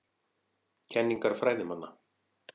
Kenningar fræðimanna.